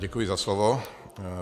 Děkuji za slovo.